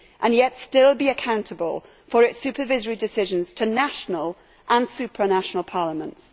yet still be accountable for its supervisory decisions to national and supranational parliaments.